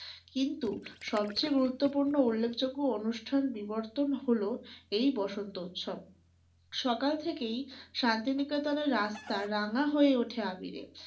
কিন্তু সবচেয়ে গুরুত্বপূর্ণ উল্লেখযোগ্য অনুষ্ঠান বিবর্তন হলো এই বসন্ত উৎসব । সকাল থেকেই শান্তি নিকেতনের রাস্তা রাঙা হয়ে ওঠে আবীরে।